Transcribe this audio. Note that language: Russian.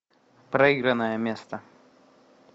проигранное место